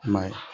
I m'a ye